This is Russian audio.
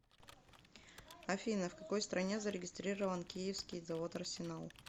афина в какой стране зарегистрирован киевский завод арсенал